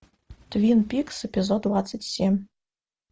твин пикс эпизод двадцать семь